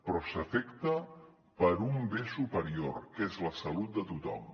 però s’afecta per un bé superior que és la salut de tothom